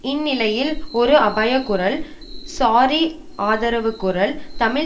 இந்நிலையில் ஒரு அபயக்குரல் ஸாரி ஆதரவுக்குரல் தமிழ்